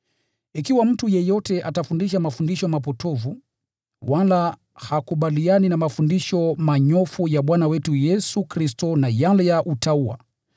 Ikiwa mtu yeyote atafundisha mafundisho mapotovu wala hakubaliani na mafundisho manyofu ya Bwana wetu Yesu Kristo na yale ya utauwa,